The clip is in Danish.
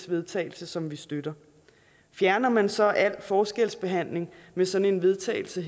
vedtagelse som vi støtter fjerner man så al forskelsbehandling med sådan en vedtagelse